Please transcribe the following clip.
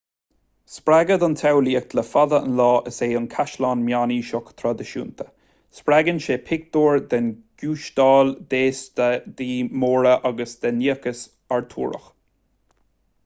spreagadh don tsamhlaíocht le fada an lá is ea an caisleán meánaoiseach traidisiúnta spreagann sé pictiúir den ghiústáil d'fhéastaí móra agus den niachas artúrach